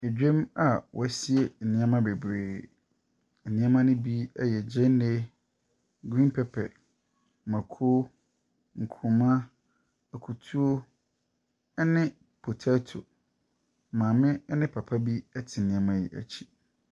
Dwam a wɔasie nneɛma bebree. Nneɛma no bi yɛ gyeene, green pepper, mmako, nkuruma, akutuo ne potato. Maame ne papa bi te nneɛma yi akyi.